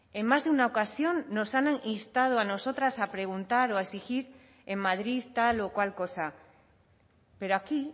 en más de una ocasión nos han instado a nosotras a preguntar o a exigir en madrid tal o cual cosa pero aquí